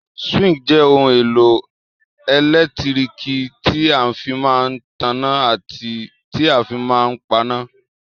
Súwísì jẹ́ ohun èlò ẹ̀lẹ́tíríkì tí a fí máa n tanná àti tí a fí máa n paná